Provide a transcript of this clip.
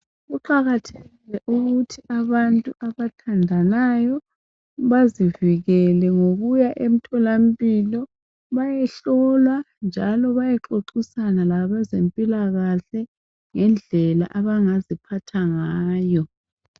Kuqakathekile ukuthi abantu abathandanayo bazivikele ngokuya emtholampilo bayehlolwa njalo bayexoxisana labezempilakahle ngendlela abangaziphatha ngayo.